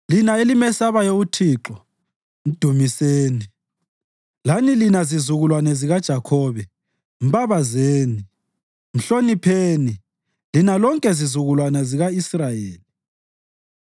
Lina elimesabayo uThixo, mdumiseni! Lani lina zizukulwane zikaJakhobe, mbabazeni! Mhlonipheni, lina lonke zizukulwane zika-Israyeli!